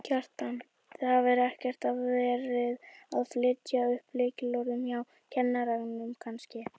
Kjartan: Þið hafið ekkert verið að fletta upp lykilorðum hjá kennurum kannski?